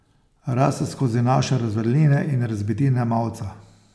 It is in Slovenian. Raste skozi naše razvaline in razbitine mavca.